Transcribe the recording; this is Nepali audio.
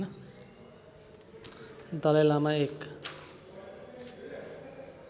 दलाई लामा एक